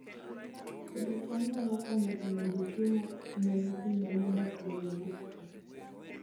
Pidho cham nyalo konyo e medo chiemo ne nyithindo modak e gwenge mosokore